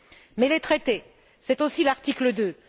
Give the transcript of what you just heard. Mais les traités, c'est aussi l'article2